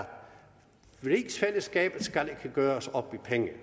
rigsfællesskabet ikke skal gøres op i penge vi